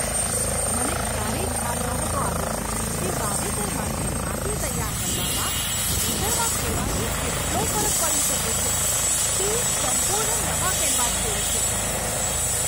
મને ક્યારેય ખ્યાલ નહોતો આવ્યો કે વાવેતર માટે માટી તૈયાર કરવામાં ખેતરમાં ખેડવાથી કેટલો ફરક પડી શકે છે. તે એક સંપૂર્ણ નવા કેનવાસ જેવું છે!